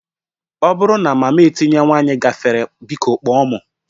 Ọ bụrụ na mama etinye nwanyị gafere, biko kpọọ m